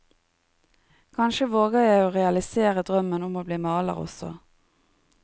Kanskje våger jeg å realisere drømmen om å bli maler også.